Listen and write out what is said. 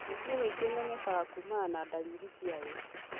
mĩrimũ mĩingĩ imenyekaga kuumana na ndariri ciayo